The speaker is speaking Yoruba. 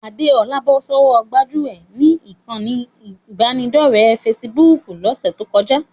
Adéọlá bọ́ sọ́wọ́ gbájúẹ̀ ni ìkànnì ìbánidọ́ọ̀rẹ́ fesibúùkù lọ́sẹ̀ tó kọjá